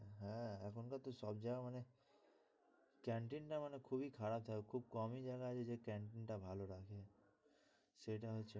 হম এখনকার তো সব জায়গায় মানে canteen না মানে খুবই খারাপ থাকে। খুব কমই জায়গা আছে যে canteen টা ভালো রাখে। সেটা হচ্ছে কথা।